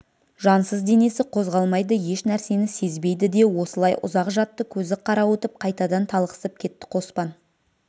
жансыз денесі қозғалмайды еш нәрсені сезбейді де осылай ұзақ жатты көзі қарауытып қайтадан талықсып кетті қоспан